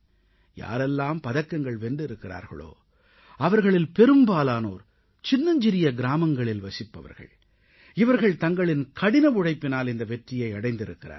யாரெல்லாம் பதக்கங்கள் வென்றிருக்கிறார்களோ அவர்களில் பெரும்பாலானோர் சின்னஞ்சிறிய கிராமங்களில் வசிப்பவர்கள் இவர்கள் தங்களின் கடின உழைப்பினால் இந்த வெற்றியை அடைந்திருக்கிறார்கள்